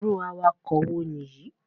Irú awakọ̀ wo nìyí?